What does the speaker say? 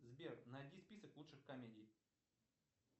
сбер найди список лучших комедий